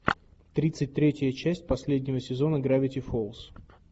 тридцать третья часть последнего сезона гравити фолз